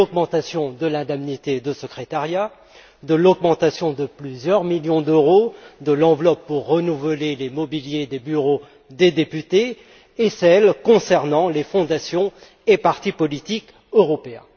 Il s'agit de l'augmentation de l'indemnité de secrétariat, de l'augmentation de plusieurs millions d'euros de l'enveloppe pour renouveler le mobilier des bureaux des députés et de celle concernant les fondations et partis politiques européens.